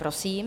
Prosím.